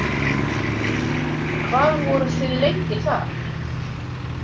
Hvað voruð þið lengi þar?